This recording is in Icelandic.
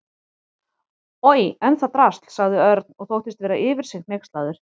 Oj, en það drasl sagði Örn og þóttist vera yfir sig hneykslaður.